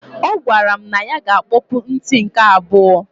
Ọ gwara m na ya ga akpọpụ nti nke abụọ.